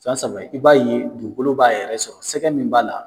Fɛn saba i b'a ye dugukolo b'a yɛrɛ sɔrɔ, sɛgɛ min b'a la